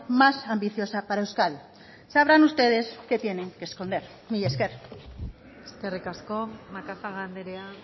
más ambiciosa para euskadi sabrán ustedes qué tienen que esconder mila esker eskerrik asko macazaga andrea